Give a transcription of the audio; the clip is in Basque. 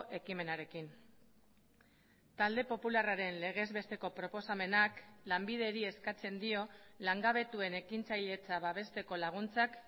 ekimenarekin talde popularraren legez besteko proposamenak lanbideri eskatzen dio langabetuen ekintzailetza babesteko laguntzak